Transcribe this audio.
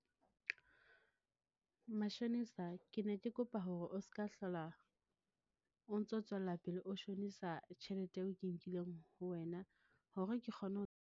Mashonisa ke ne ke kopa hore o ska hlola o ntso tswella pele o shonisa tjhelete eo ke nkileng ho wena, hore ke kgone ho.